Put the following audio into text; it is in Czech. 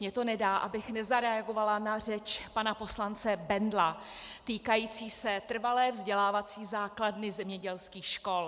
Mně to nedá, abych nezareagovala na řeč pana poslance Bendla týkající se trvalé vzdělávací základny zemědělských škol.